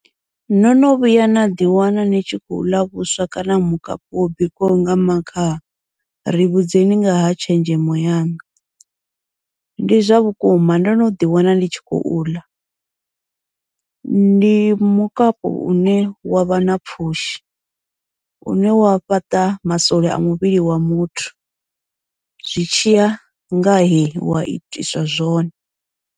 No no vhuya na ḓi wana ni tshi khou ḽa vhuswa kana mukapu wo bikiwaho nga makhaha ri vhudzekani ngaha tshenzhemo yaṋu, ndi zwa vhukuma ndo noḓi wana ndi tshi khou ḽa ndi mukapu une wavha na pfhushi une wa fhaṱa masole a muvhili wa muthu, zwi tshiya ngahe wa itiswa zwone.